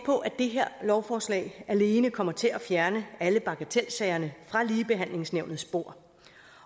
på at det her lovforslag alene kommer til at fjerne alle bagatelsagerne fra ligebehandlingsnævnets bord